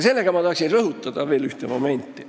Ja ma tahan rõhutada veel ühte momenti.